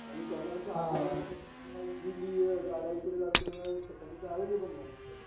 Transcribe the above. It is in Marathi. आणि त्यांना कसं इकडे जा तिकडे जा या त्यांना अव्हेलेबल नसतात